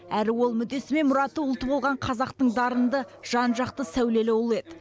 әрі ол мүддесі мен мұраты ұлты болған қазақтың дарынды жан жақты сәулелі ұлы еді